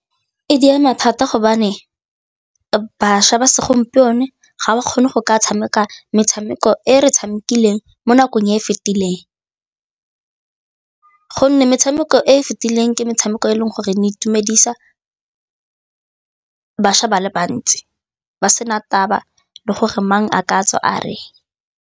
E di ama thata gobane bašwa ba segompieno ga ba kgone go ka tshameka metshameko e re tshamikeleng mo nakong e e fetileng gonne metshameko e e fetileng ke metshameko e leng gore ne itumedisa bašwa ba le bantsi, ba sena taba le gore mang a ka tswa a reng.